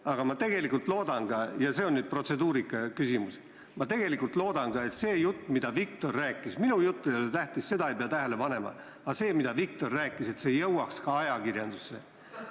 Aga tegelikult ma loodan – ja see on nüüd protseduuriküsimus –, ma loodan, et see jutt, mida Viktor rääkis – minu jutt ei ole tähtis, seda ei pea tähele panema –, jõuaks ka ajakirjandusse.